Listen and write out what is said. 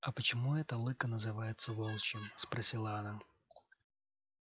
а почему это лыко называется волчьим спросила она